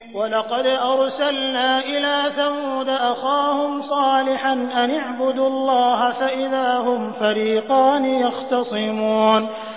وَلَقَدْ أَرْسَلْنَا إِلَىٰ ثَمُودَ أَخَاهُمْ صَالِحًا أَنِ اعْبُدُوا اللَّهَ فَإِذَا هُمْ فَرِيقَانِ يَخْتَصِمُونَ